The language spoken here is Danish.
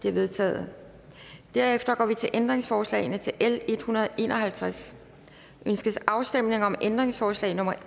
er vedtaget derefter går vi til ændringsforslagene til l en hundrede og en og halvtreds ønskes afstemning om ændringsforslag nummer